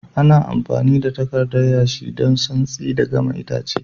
Ana amfami da takardan yashi don santsi da gama itace.